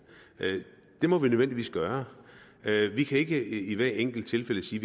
det må vi nødvendigvis gøre vi kan ikke i hvert enkelt tilfælde sige